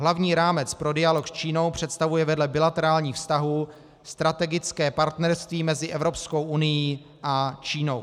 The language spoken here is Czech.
Hlavní rámec pro dialog s Čínou představuje vedle bilaterálních vztahů strategické partnerství mezi Evropskou unií a Čínou."